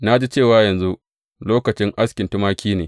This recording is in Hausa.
Na ji cewa, yanzu lokacin askin tumaki ne.